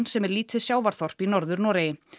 sem er lítið sjávarþorp í Norður Noregi